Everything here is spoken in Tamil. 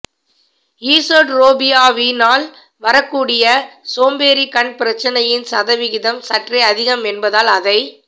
ஈசோட்ரோபியாவினால் வரக்கூடிய சோம்பேறிக் கண் பிரச்னையின் சதவிகிதம் சற்றே அதிகம் என்பதால் அதை